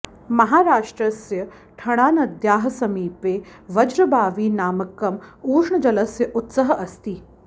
महाराष्ट्रस्य ठणानद्याः समीपे वज्रबावी नामकम् उष्णजलस्य उत्सः अस्ति